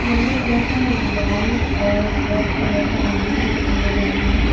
Yellow colour का wall और red colour का लाइनिंग भी दिखाया गया है।